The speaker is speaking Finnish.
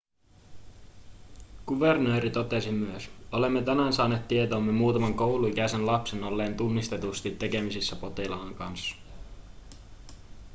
kuvernööri totesi myös olemme tänään saaneet tietoomme muutaman kouluikäisen lapsen olleen tunnistetusti tekemisissä potilaan kanssa